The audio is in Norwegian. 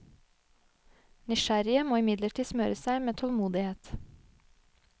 Nysgjerrige må imidlertid smøre seg med tålmodighet.